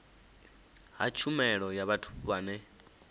ha tshumelo ya vhathu vhane